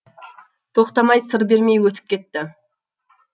тоқтамай сыр бермей өтіп кетті